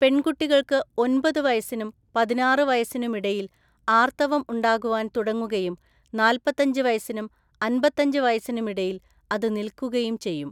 പെൺകുട്ടികൾക്ക് ഒന്‍പത് വയസ്സിനും പതിനാറ് വയസ്സിനുമിടയിൽ ആർത്തവം ഉണ്ടാകുവാൻ തുടങ്ങുകയും നാല്പത്തഞ്ച് വയസ്സിനും അമ്പത്തഞ്ച് വയസ്സിനുമിടയിൽ അതു നിൽക്കുകയും ചെയ്യും.